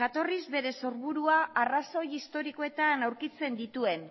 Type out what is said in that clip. jatorriz bere sorburua arrazoi historikoetan aurkitzen dituen